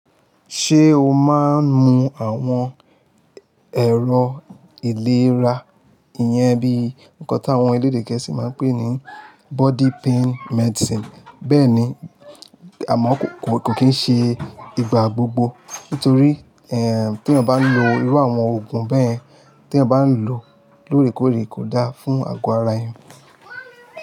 Ṣé o máa ń mu àwọn ẹ̀rọ ìlera iyẹn bí nǹkan táwọn elédè gẹ̀ẹ́sì máa ń pè ní body pain medicine. Bẹ́ẹ̀ ni, àmọ́ kò kì í ṣe ìgbà gbogbo nítorí tí èèyàn bá ń lo irú àwọn òògùn bẹyẹn, tí èèyàn ba ń lò lóòrèkóòrè kò da fún àgọ́ ara èèyàn.